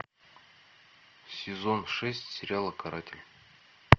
сезон шесть сериала каратель